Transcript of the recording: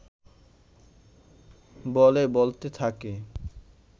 বলে বলতে থাকে